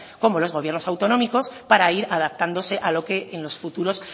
como los gobiernos autonómicos para ir adaptándose a lo que en los futuros